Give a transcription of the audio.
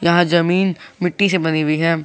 यहां जमीन मिट्टी से बनी हुई है।